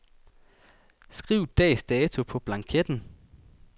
Skriv dags dato på blanketten.